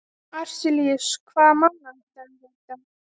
Arilíus, hvaða mánaðardagur er í dag?